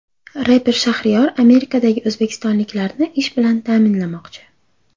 Reper Shahriyor Amerikadagi o‘zbekistonliklarni ish bilan ta’minlamoqchi.